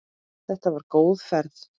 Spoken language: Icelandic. Þetta var góð ferð.